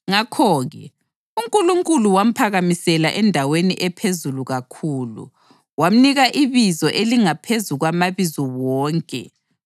Ngakho-ke, uNkulunkulu wamphakamisela endaweni ephezulu kakhulu, wamnika ibizo elingaphezu kwamabizo wonke,